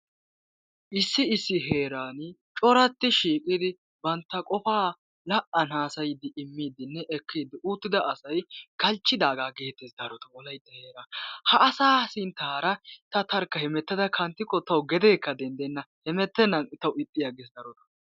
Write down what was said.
issi issi heerani corati shiiqidi banta qofaa la'an hasayidinne ekkidi uttida asasy galchchidaagaa getes darotoo wolaytta heeran ha asaa sintara ta tarkka hemmetada kantikko tawu gedeekka dendenna hemetennan ixxes tawu darotoo